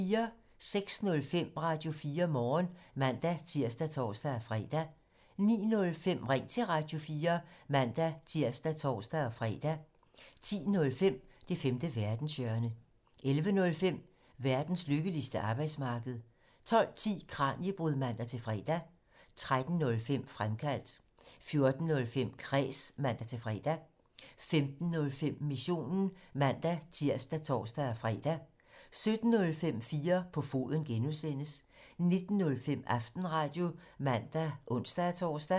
06:05: Radio4 Morgen (man-tir og tor-fre) 09:05: Ring til Radio4 (man-tir og tor-fre) 10:05: Det femte verdenshjørne 11:05: Verdens lykkeligste arbejdsmarked 12:10: Kraniebrud (man-fre) 13:05: Fremkaldt 14:05: Kræs (man-fre) 15:05: Missionen (man-tir og tor-fre) 17:05: 4 på foden (G) 19:05: Aftenradio (man og ons-tor)